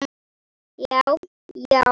Já, já.